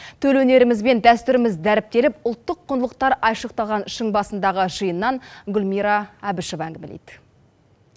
төл өнеріміз бен дәстүріміз дәріптеліп ұлттық құндылықтар айшықталған шың басындағы жиыннан гүлмира әбішева әңгімелейді